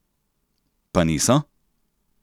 Pa niso?